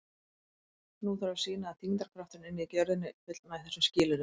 Nú þarf að sýna að þyngdarkrafturinn inni í jörðinni fullnægi þessum skilyrðum.